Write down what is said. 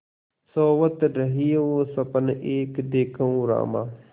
सोवत रहेउँ सपन एक देखेउँ रामा